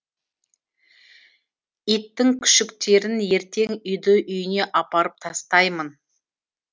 иттің күшіктерін ертең үйді үйіне апарып тастаймын